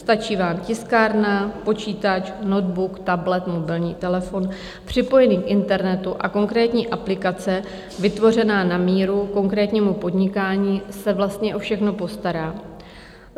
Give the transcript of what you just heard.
Stačí vám tiskárna, počítač, notebook, tablet, mobilní telefon, připojený k internetu a konkrétní aplikace vytvořená na míru, konkrétnímu podnikání se vlastně o všechno postará.